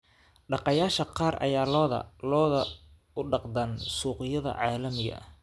Dhaqaaqayaasha qaar ayaa lo'da lo'da u dhaqdaan suuqyada caalamiga ah.